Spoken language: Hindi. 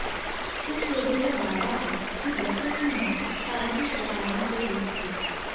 कुछ लोगों का दावा है कि बच्चों की मौत शारीरिक प्रताड़ना से हुई थी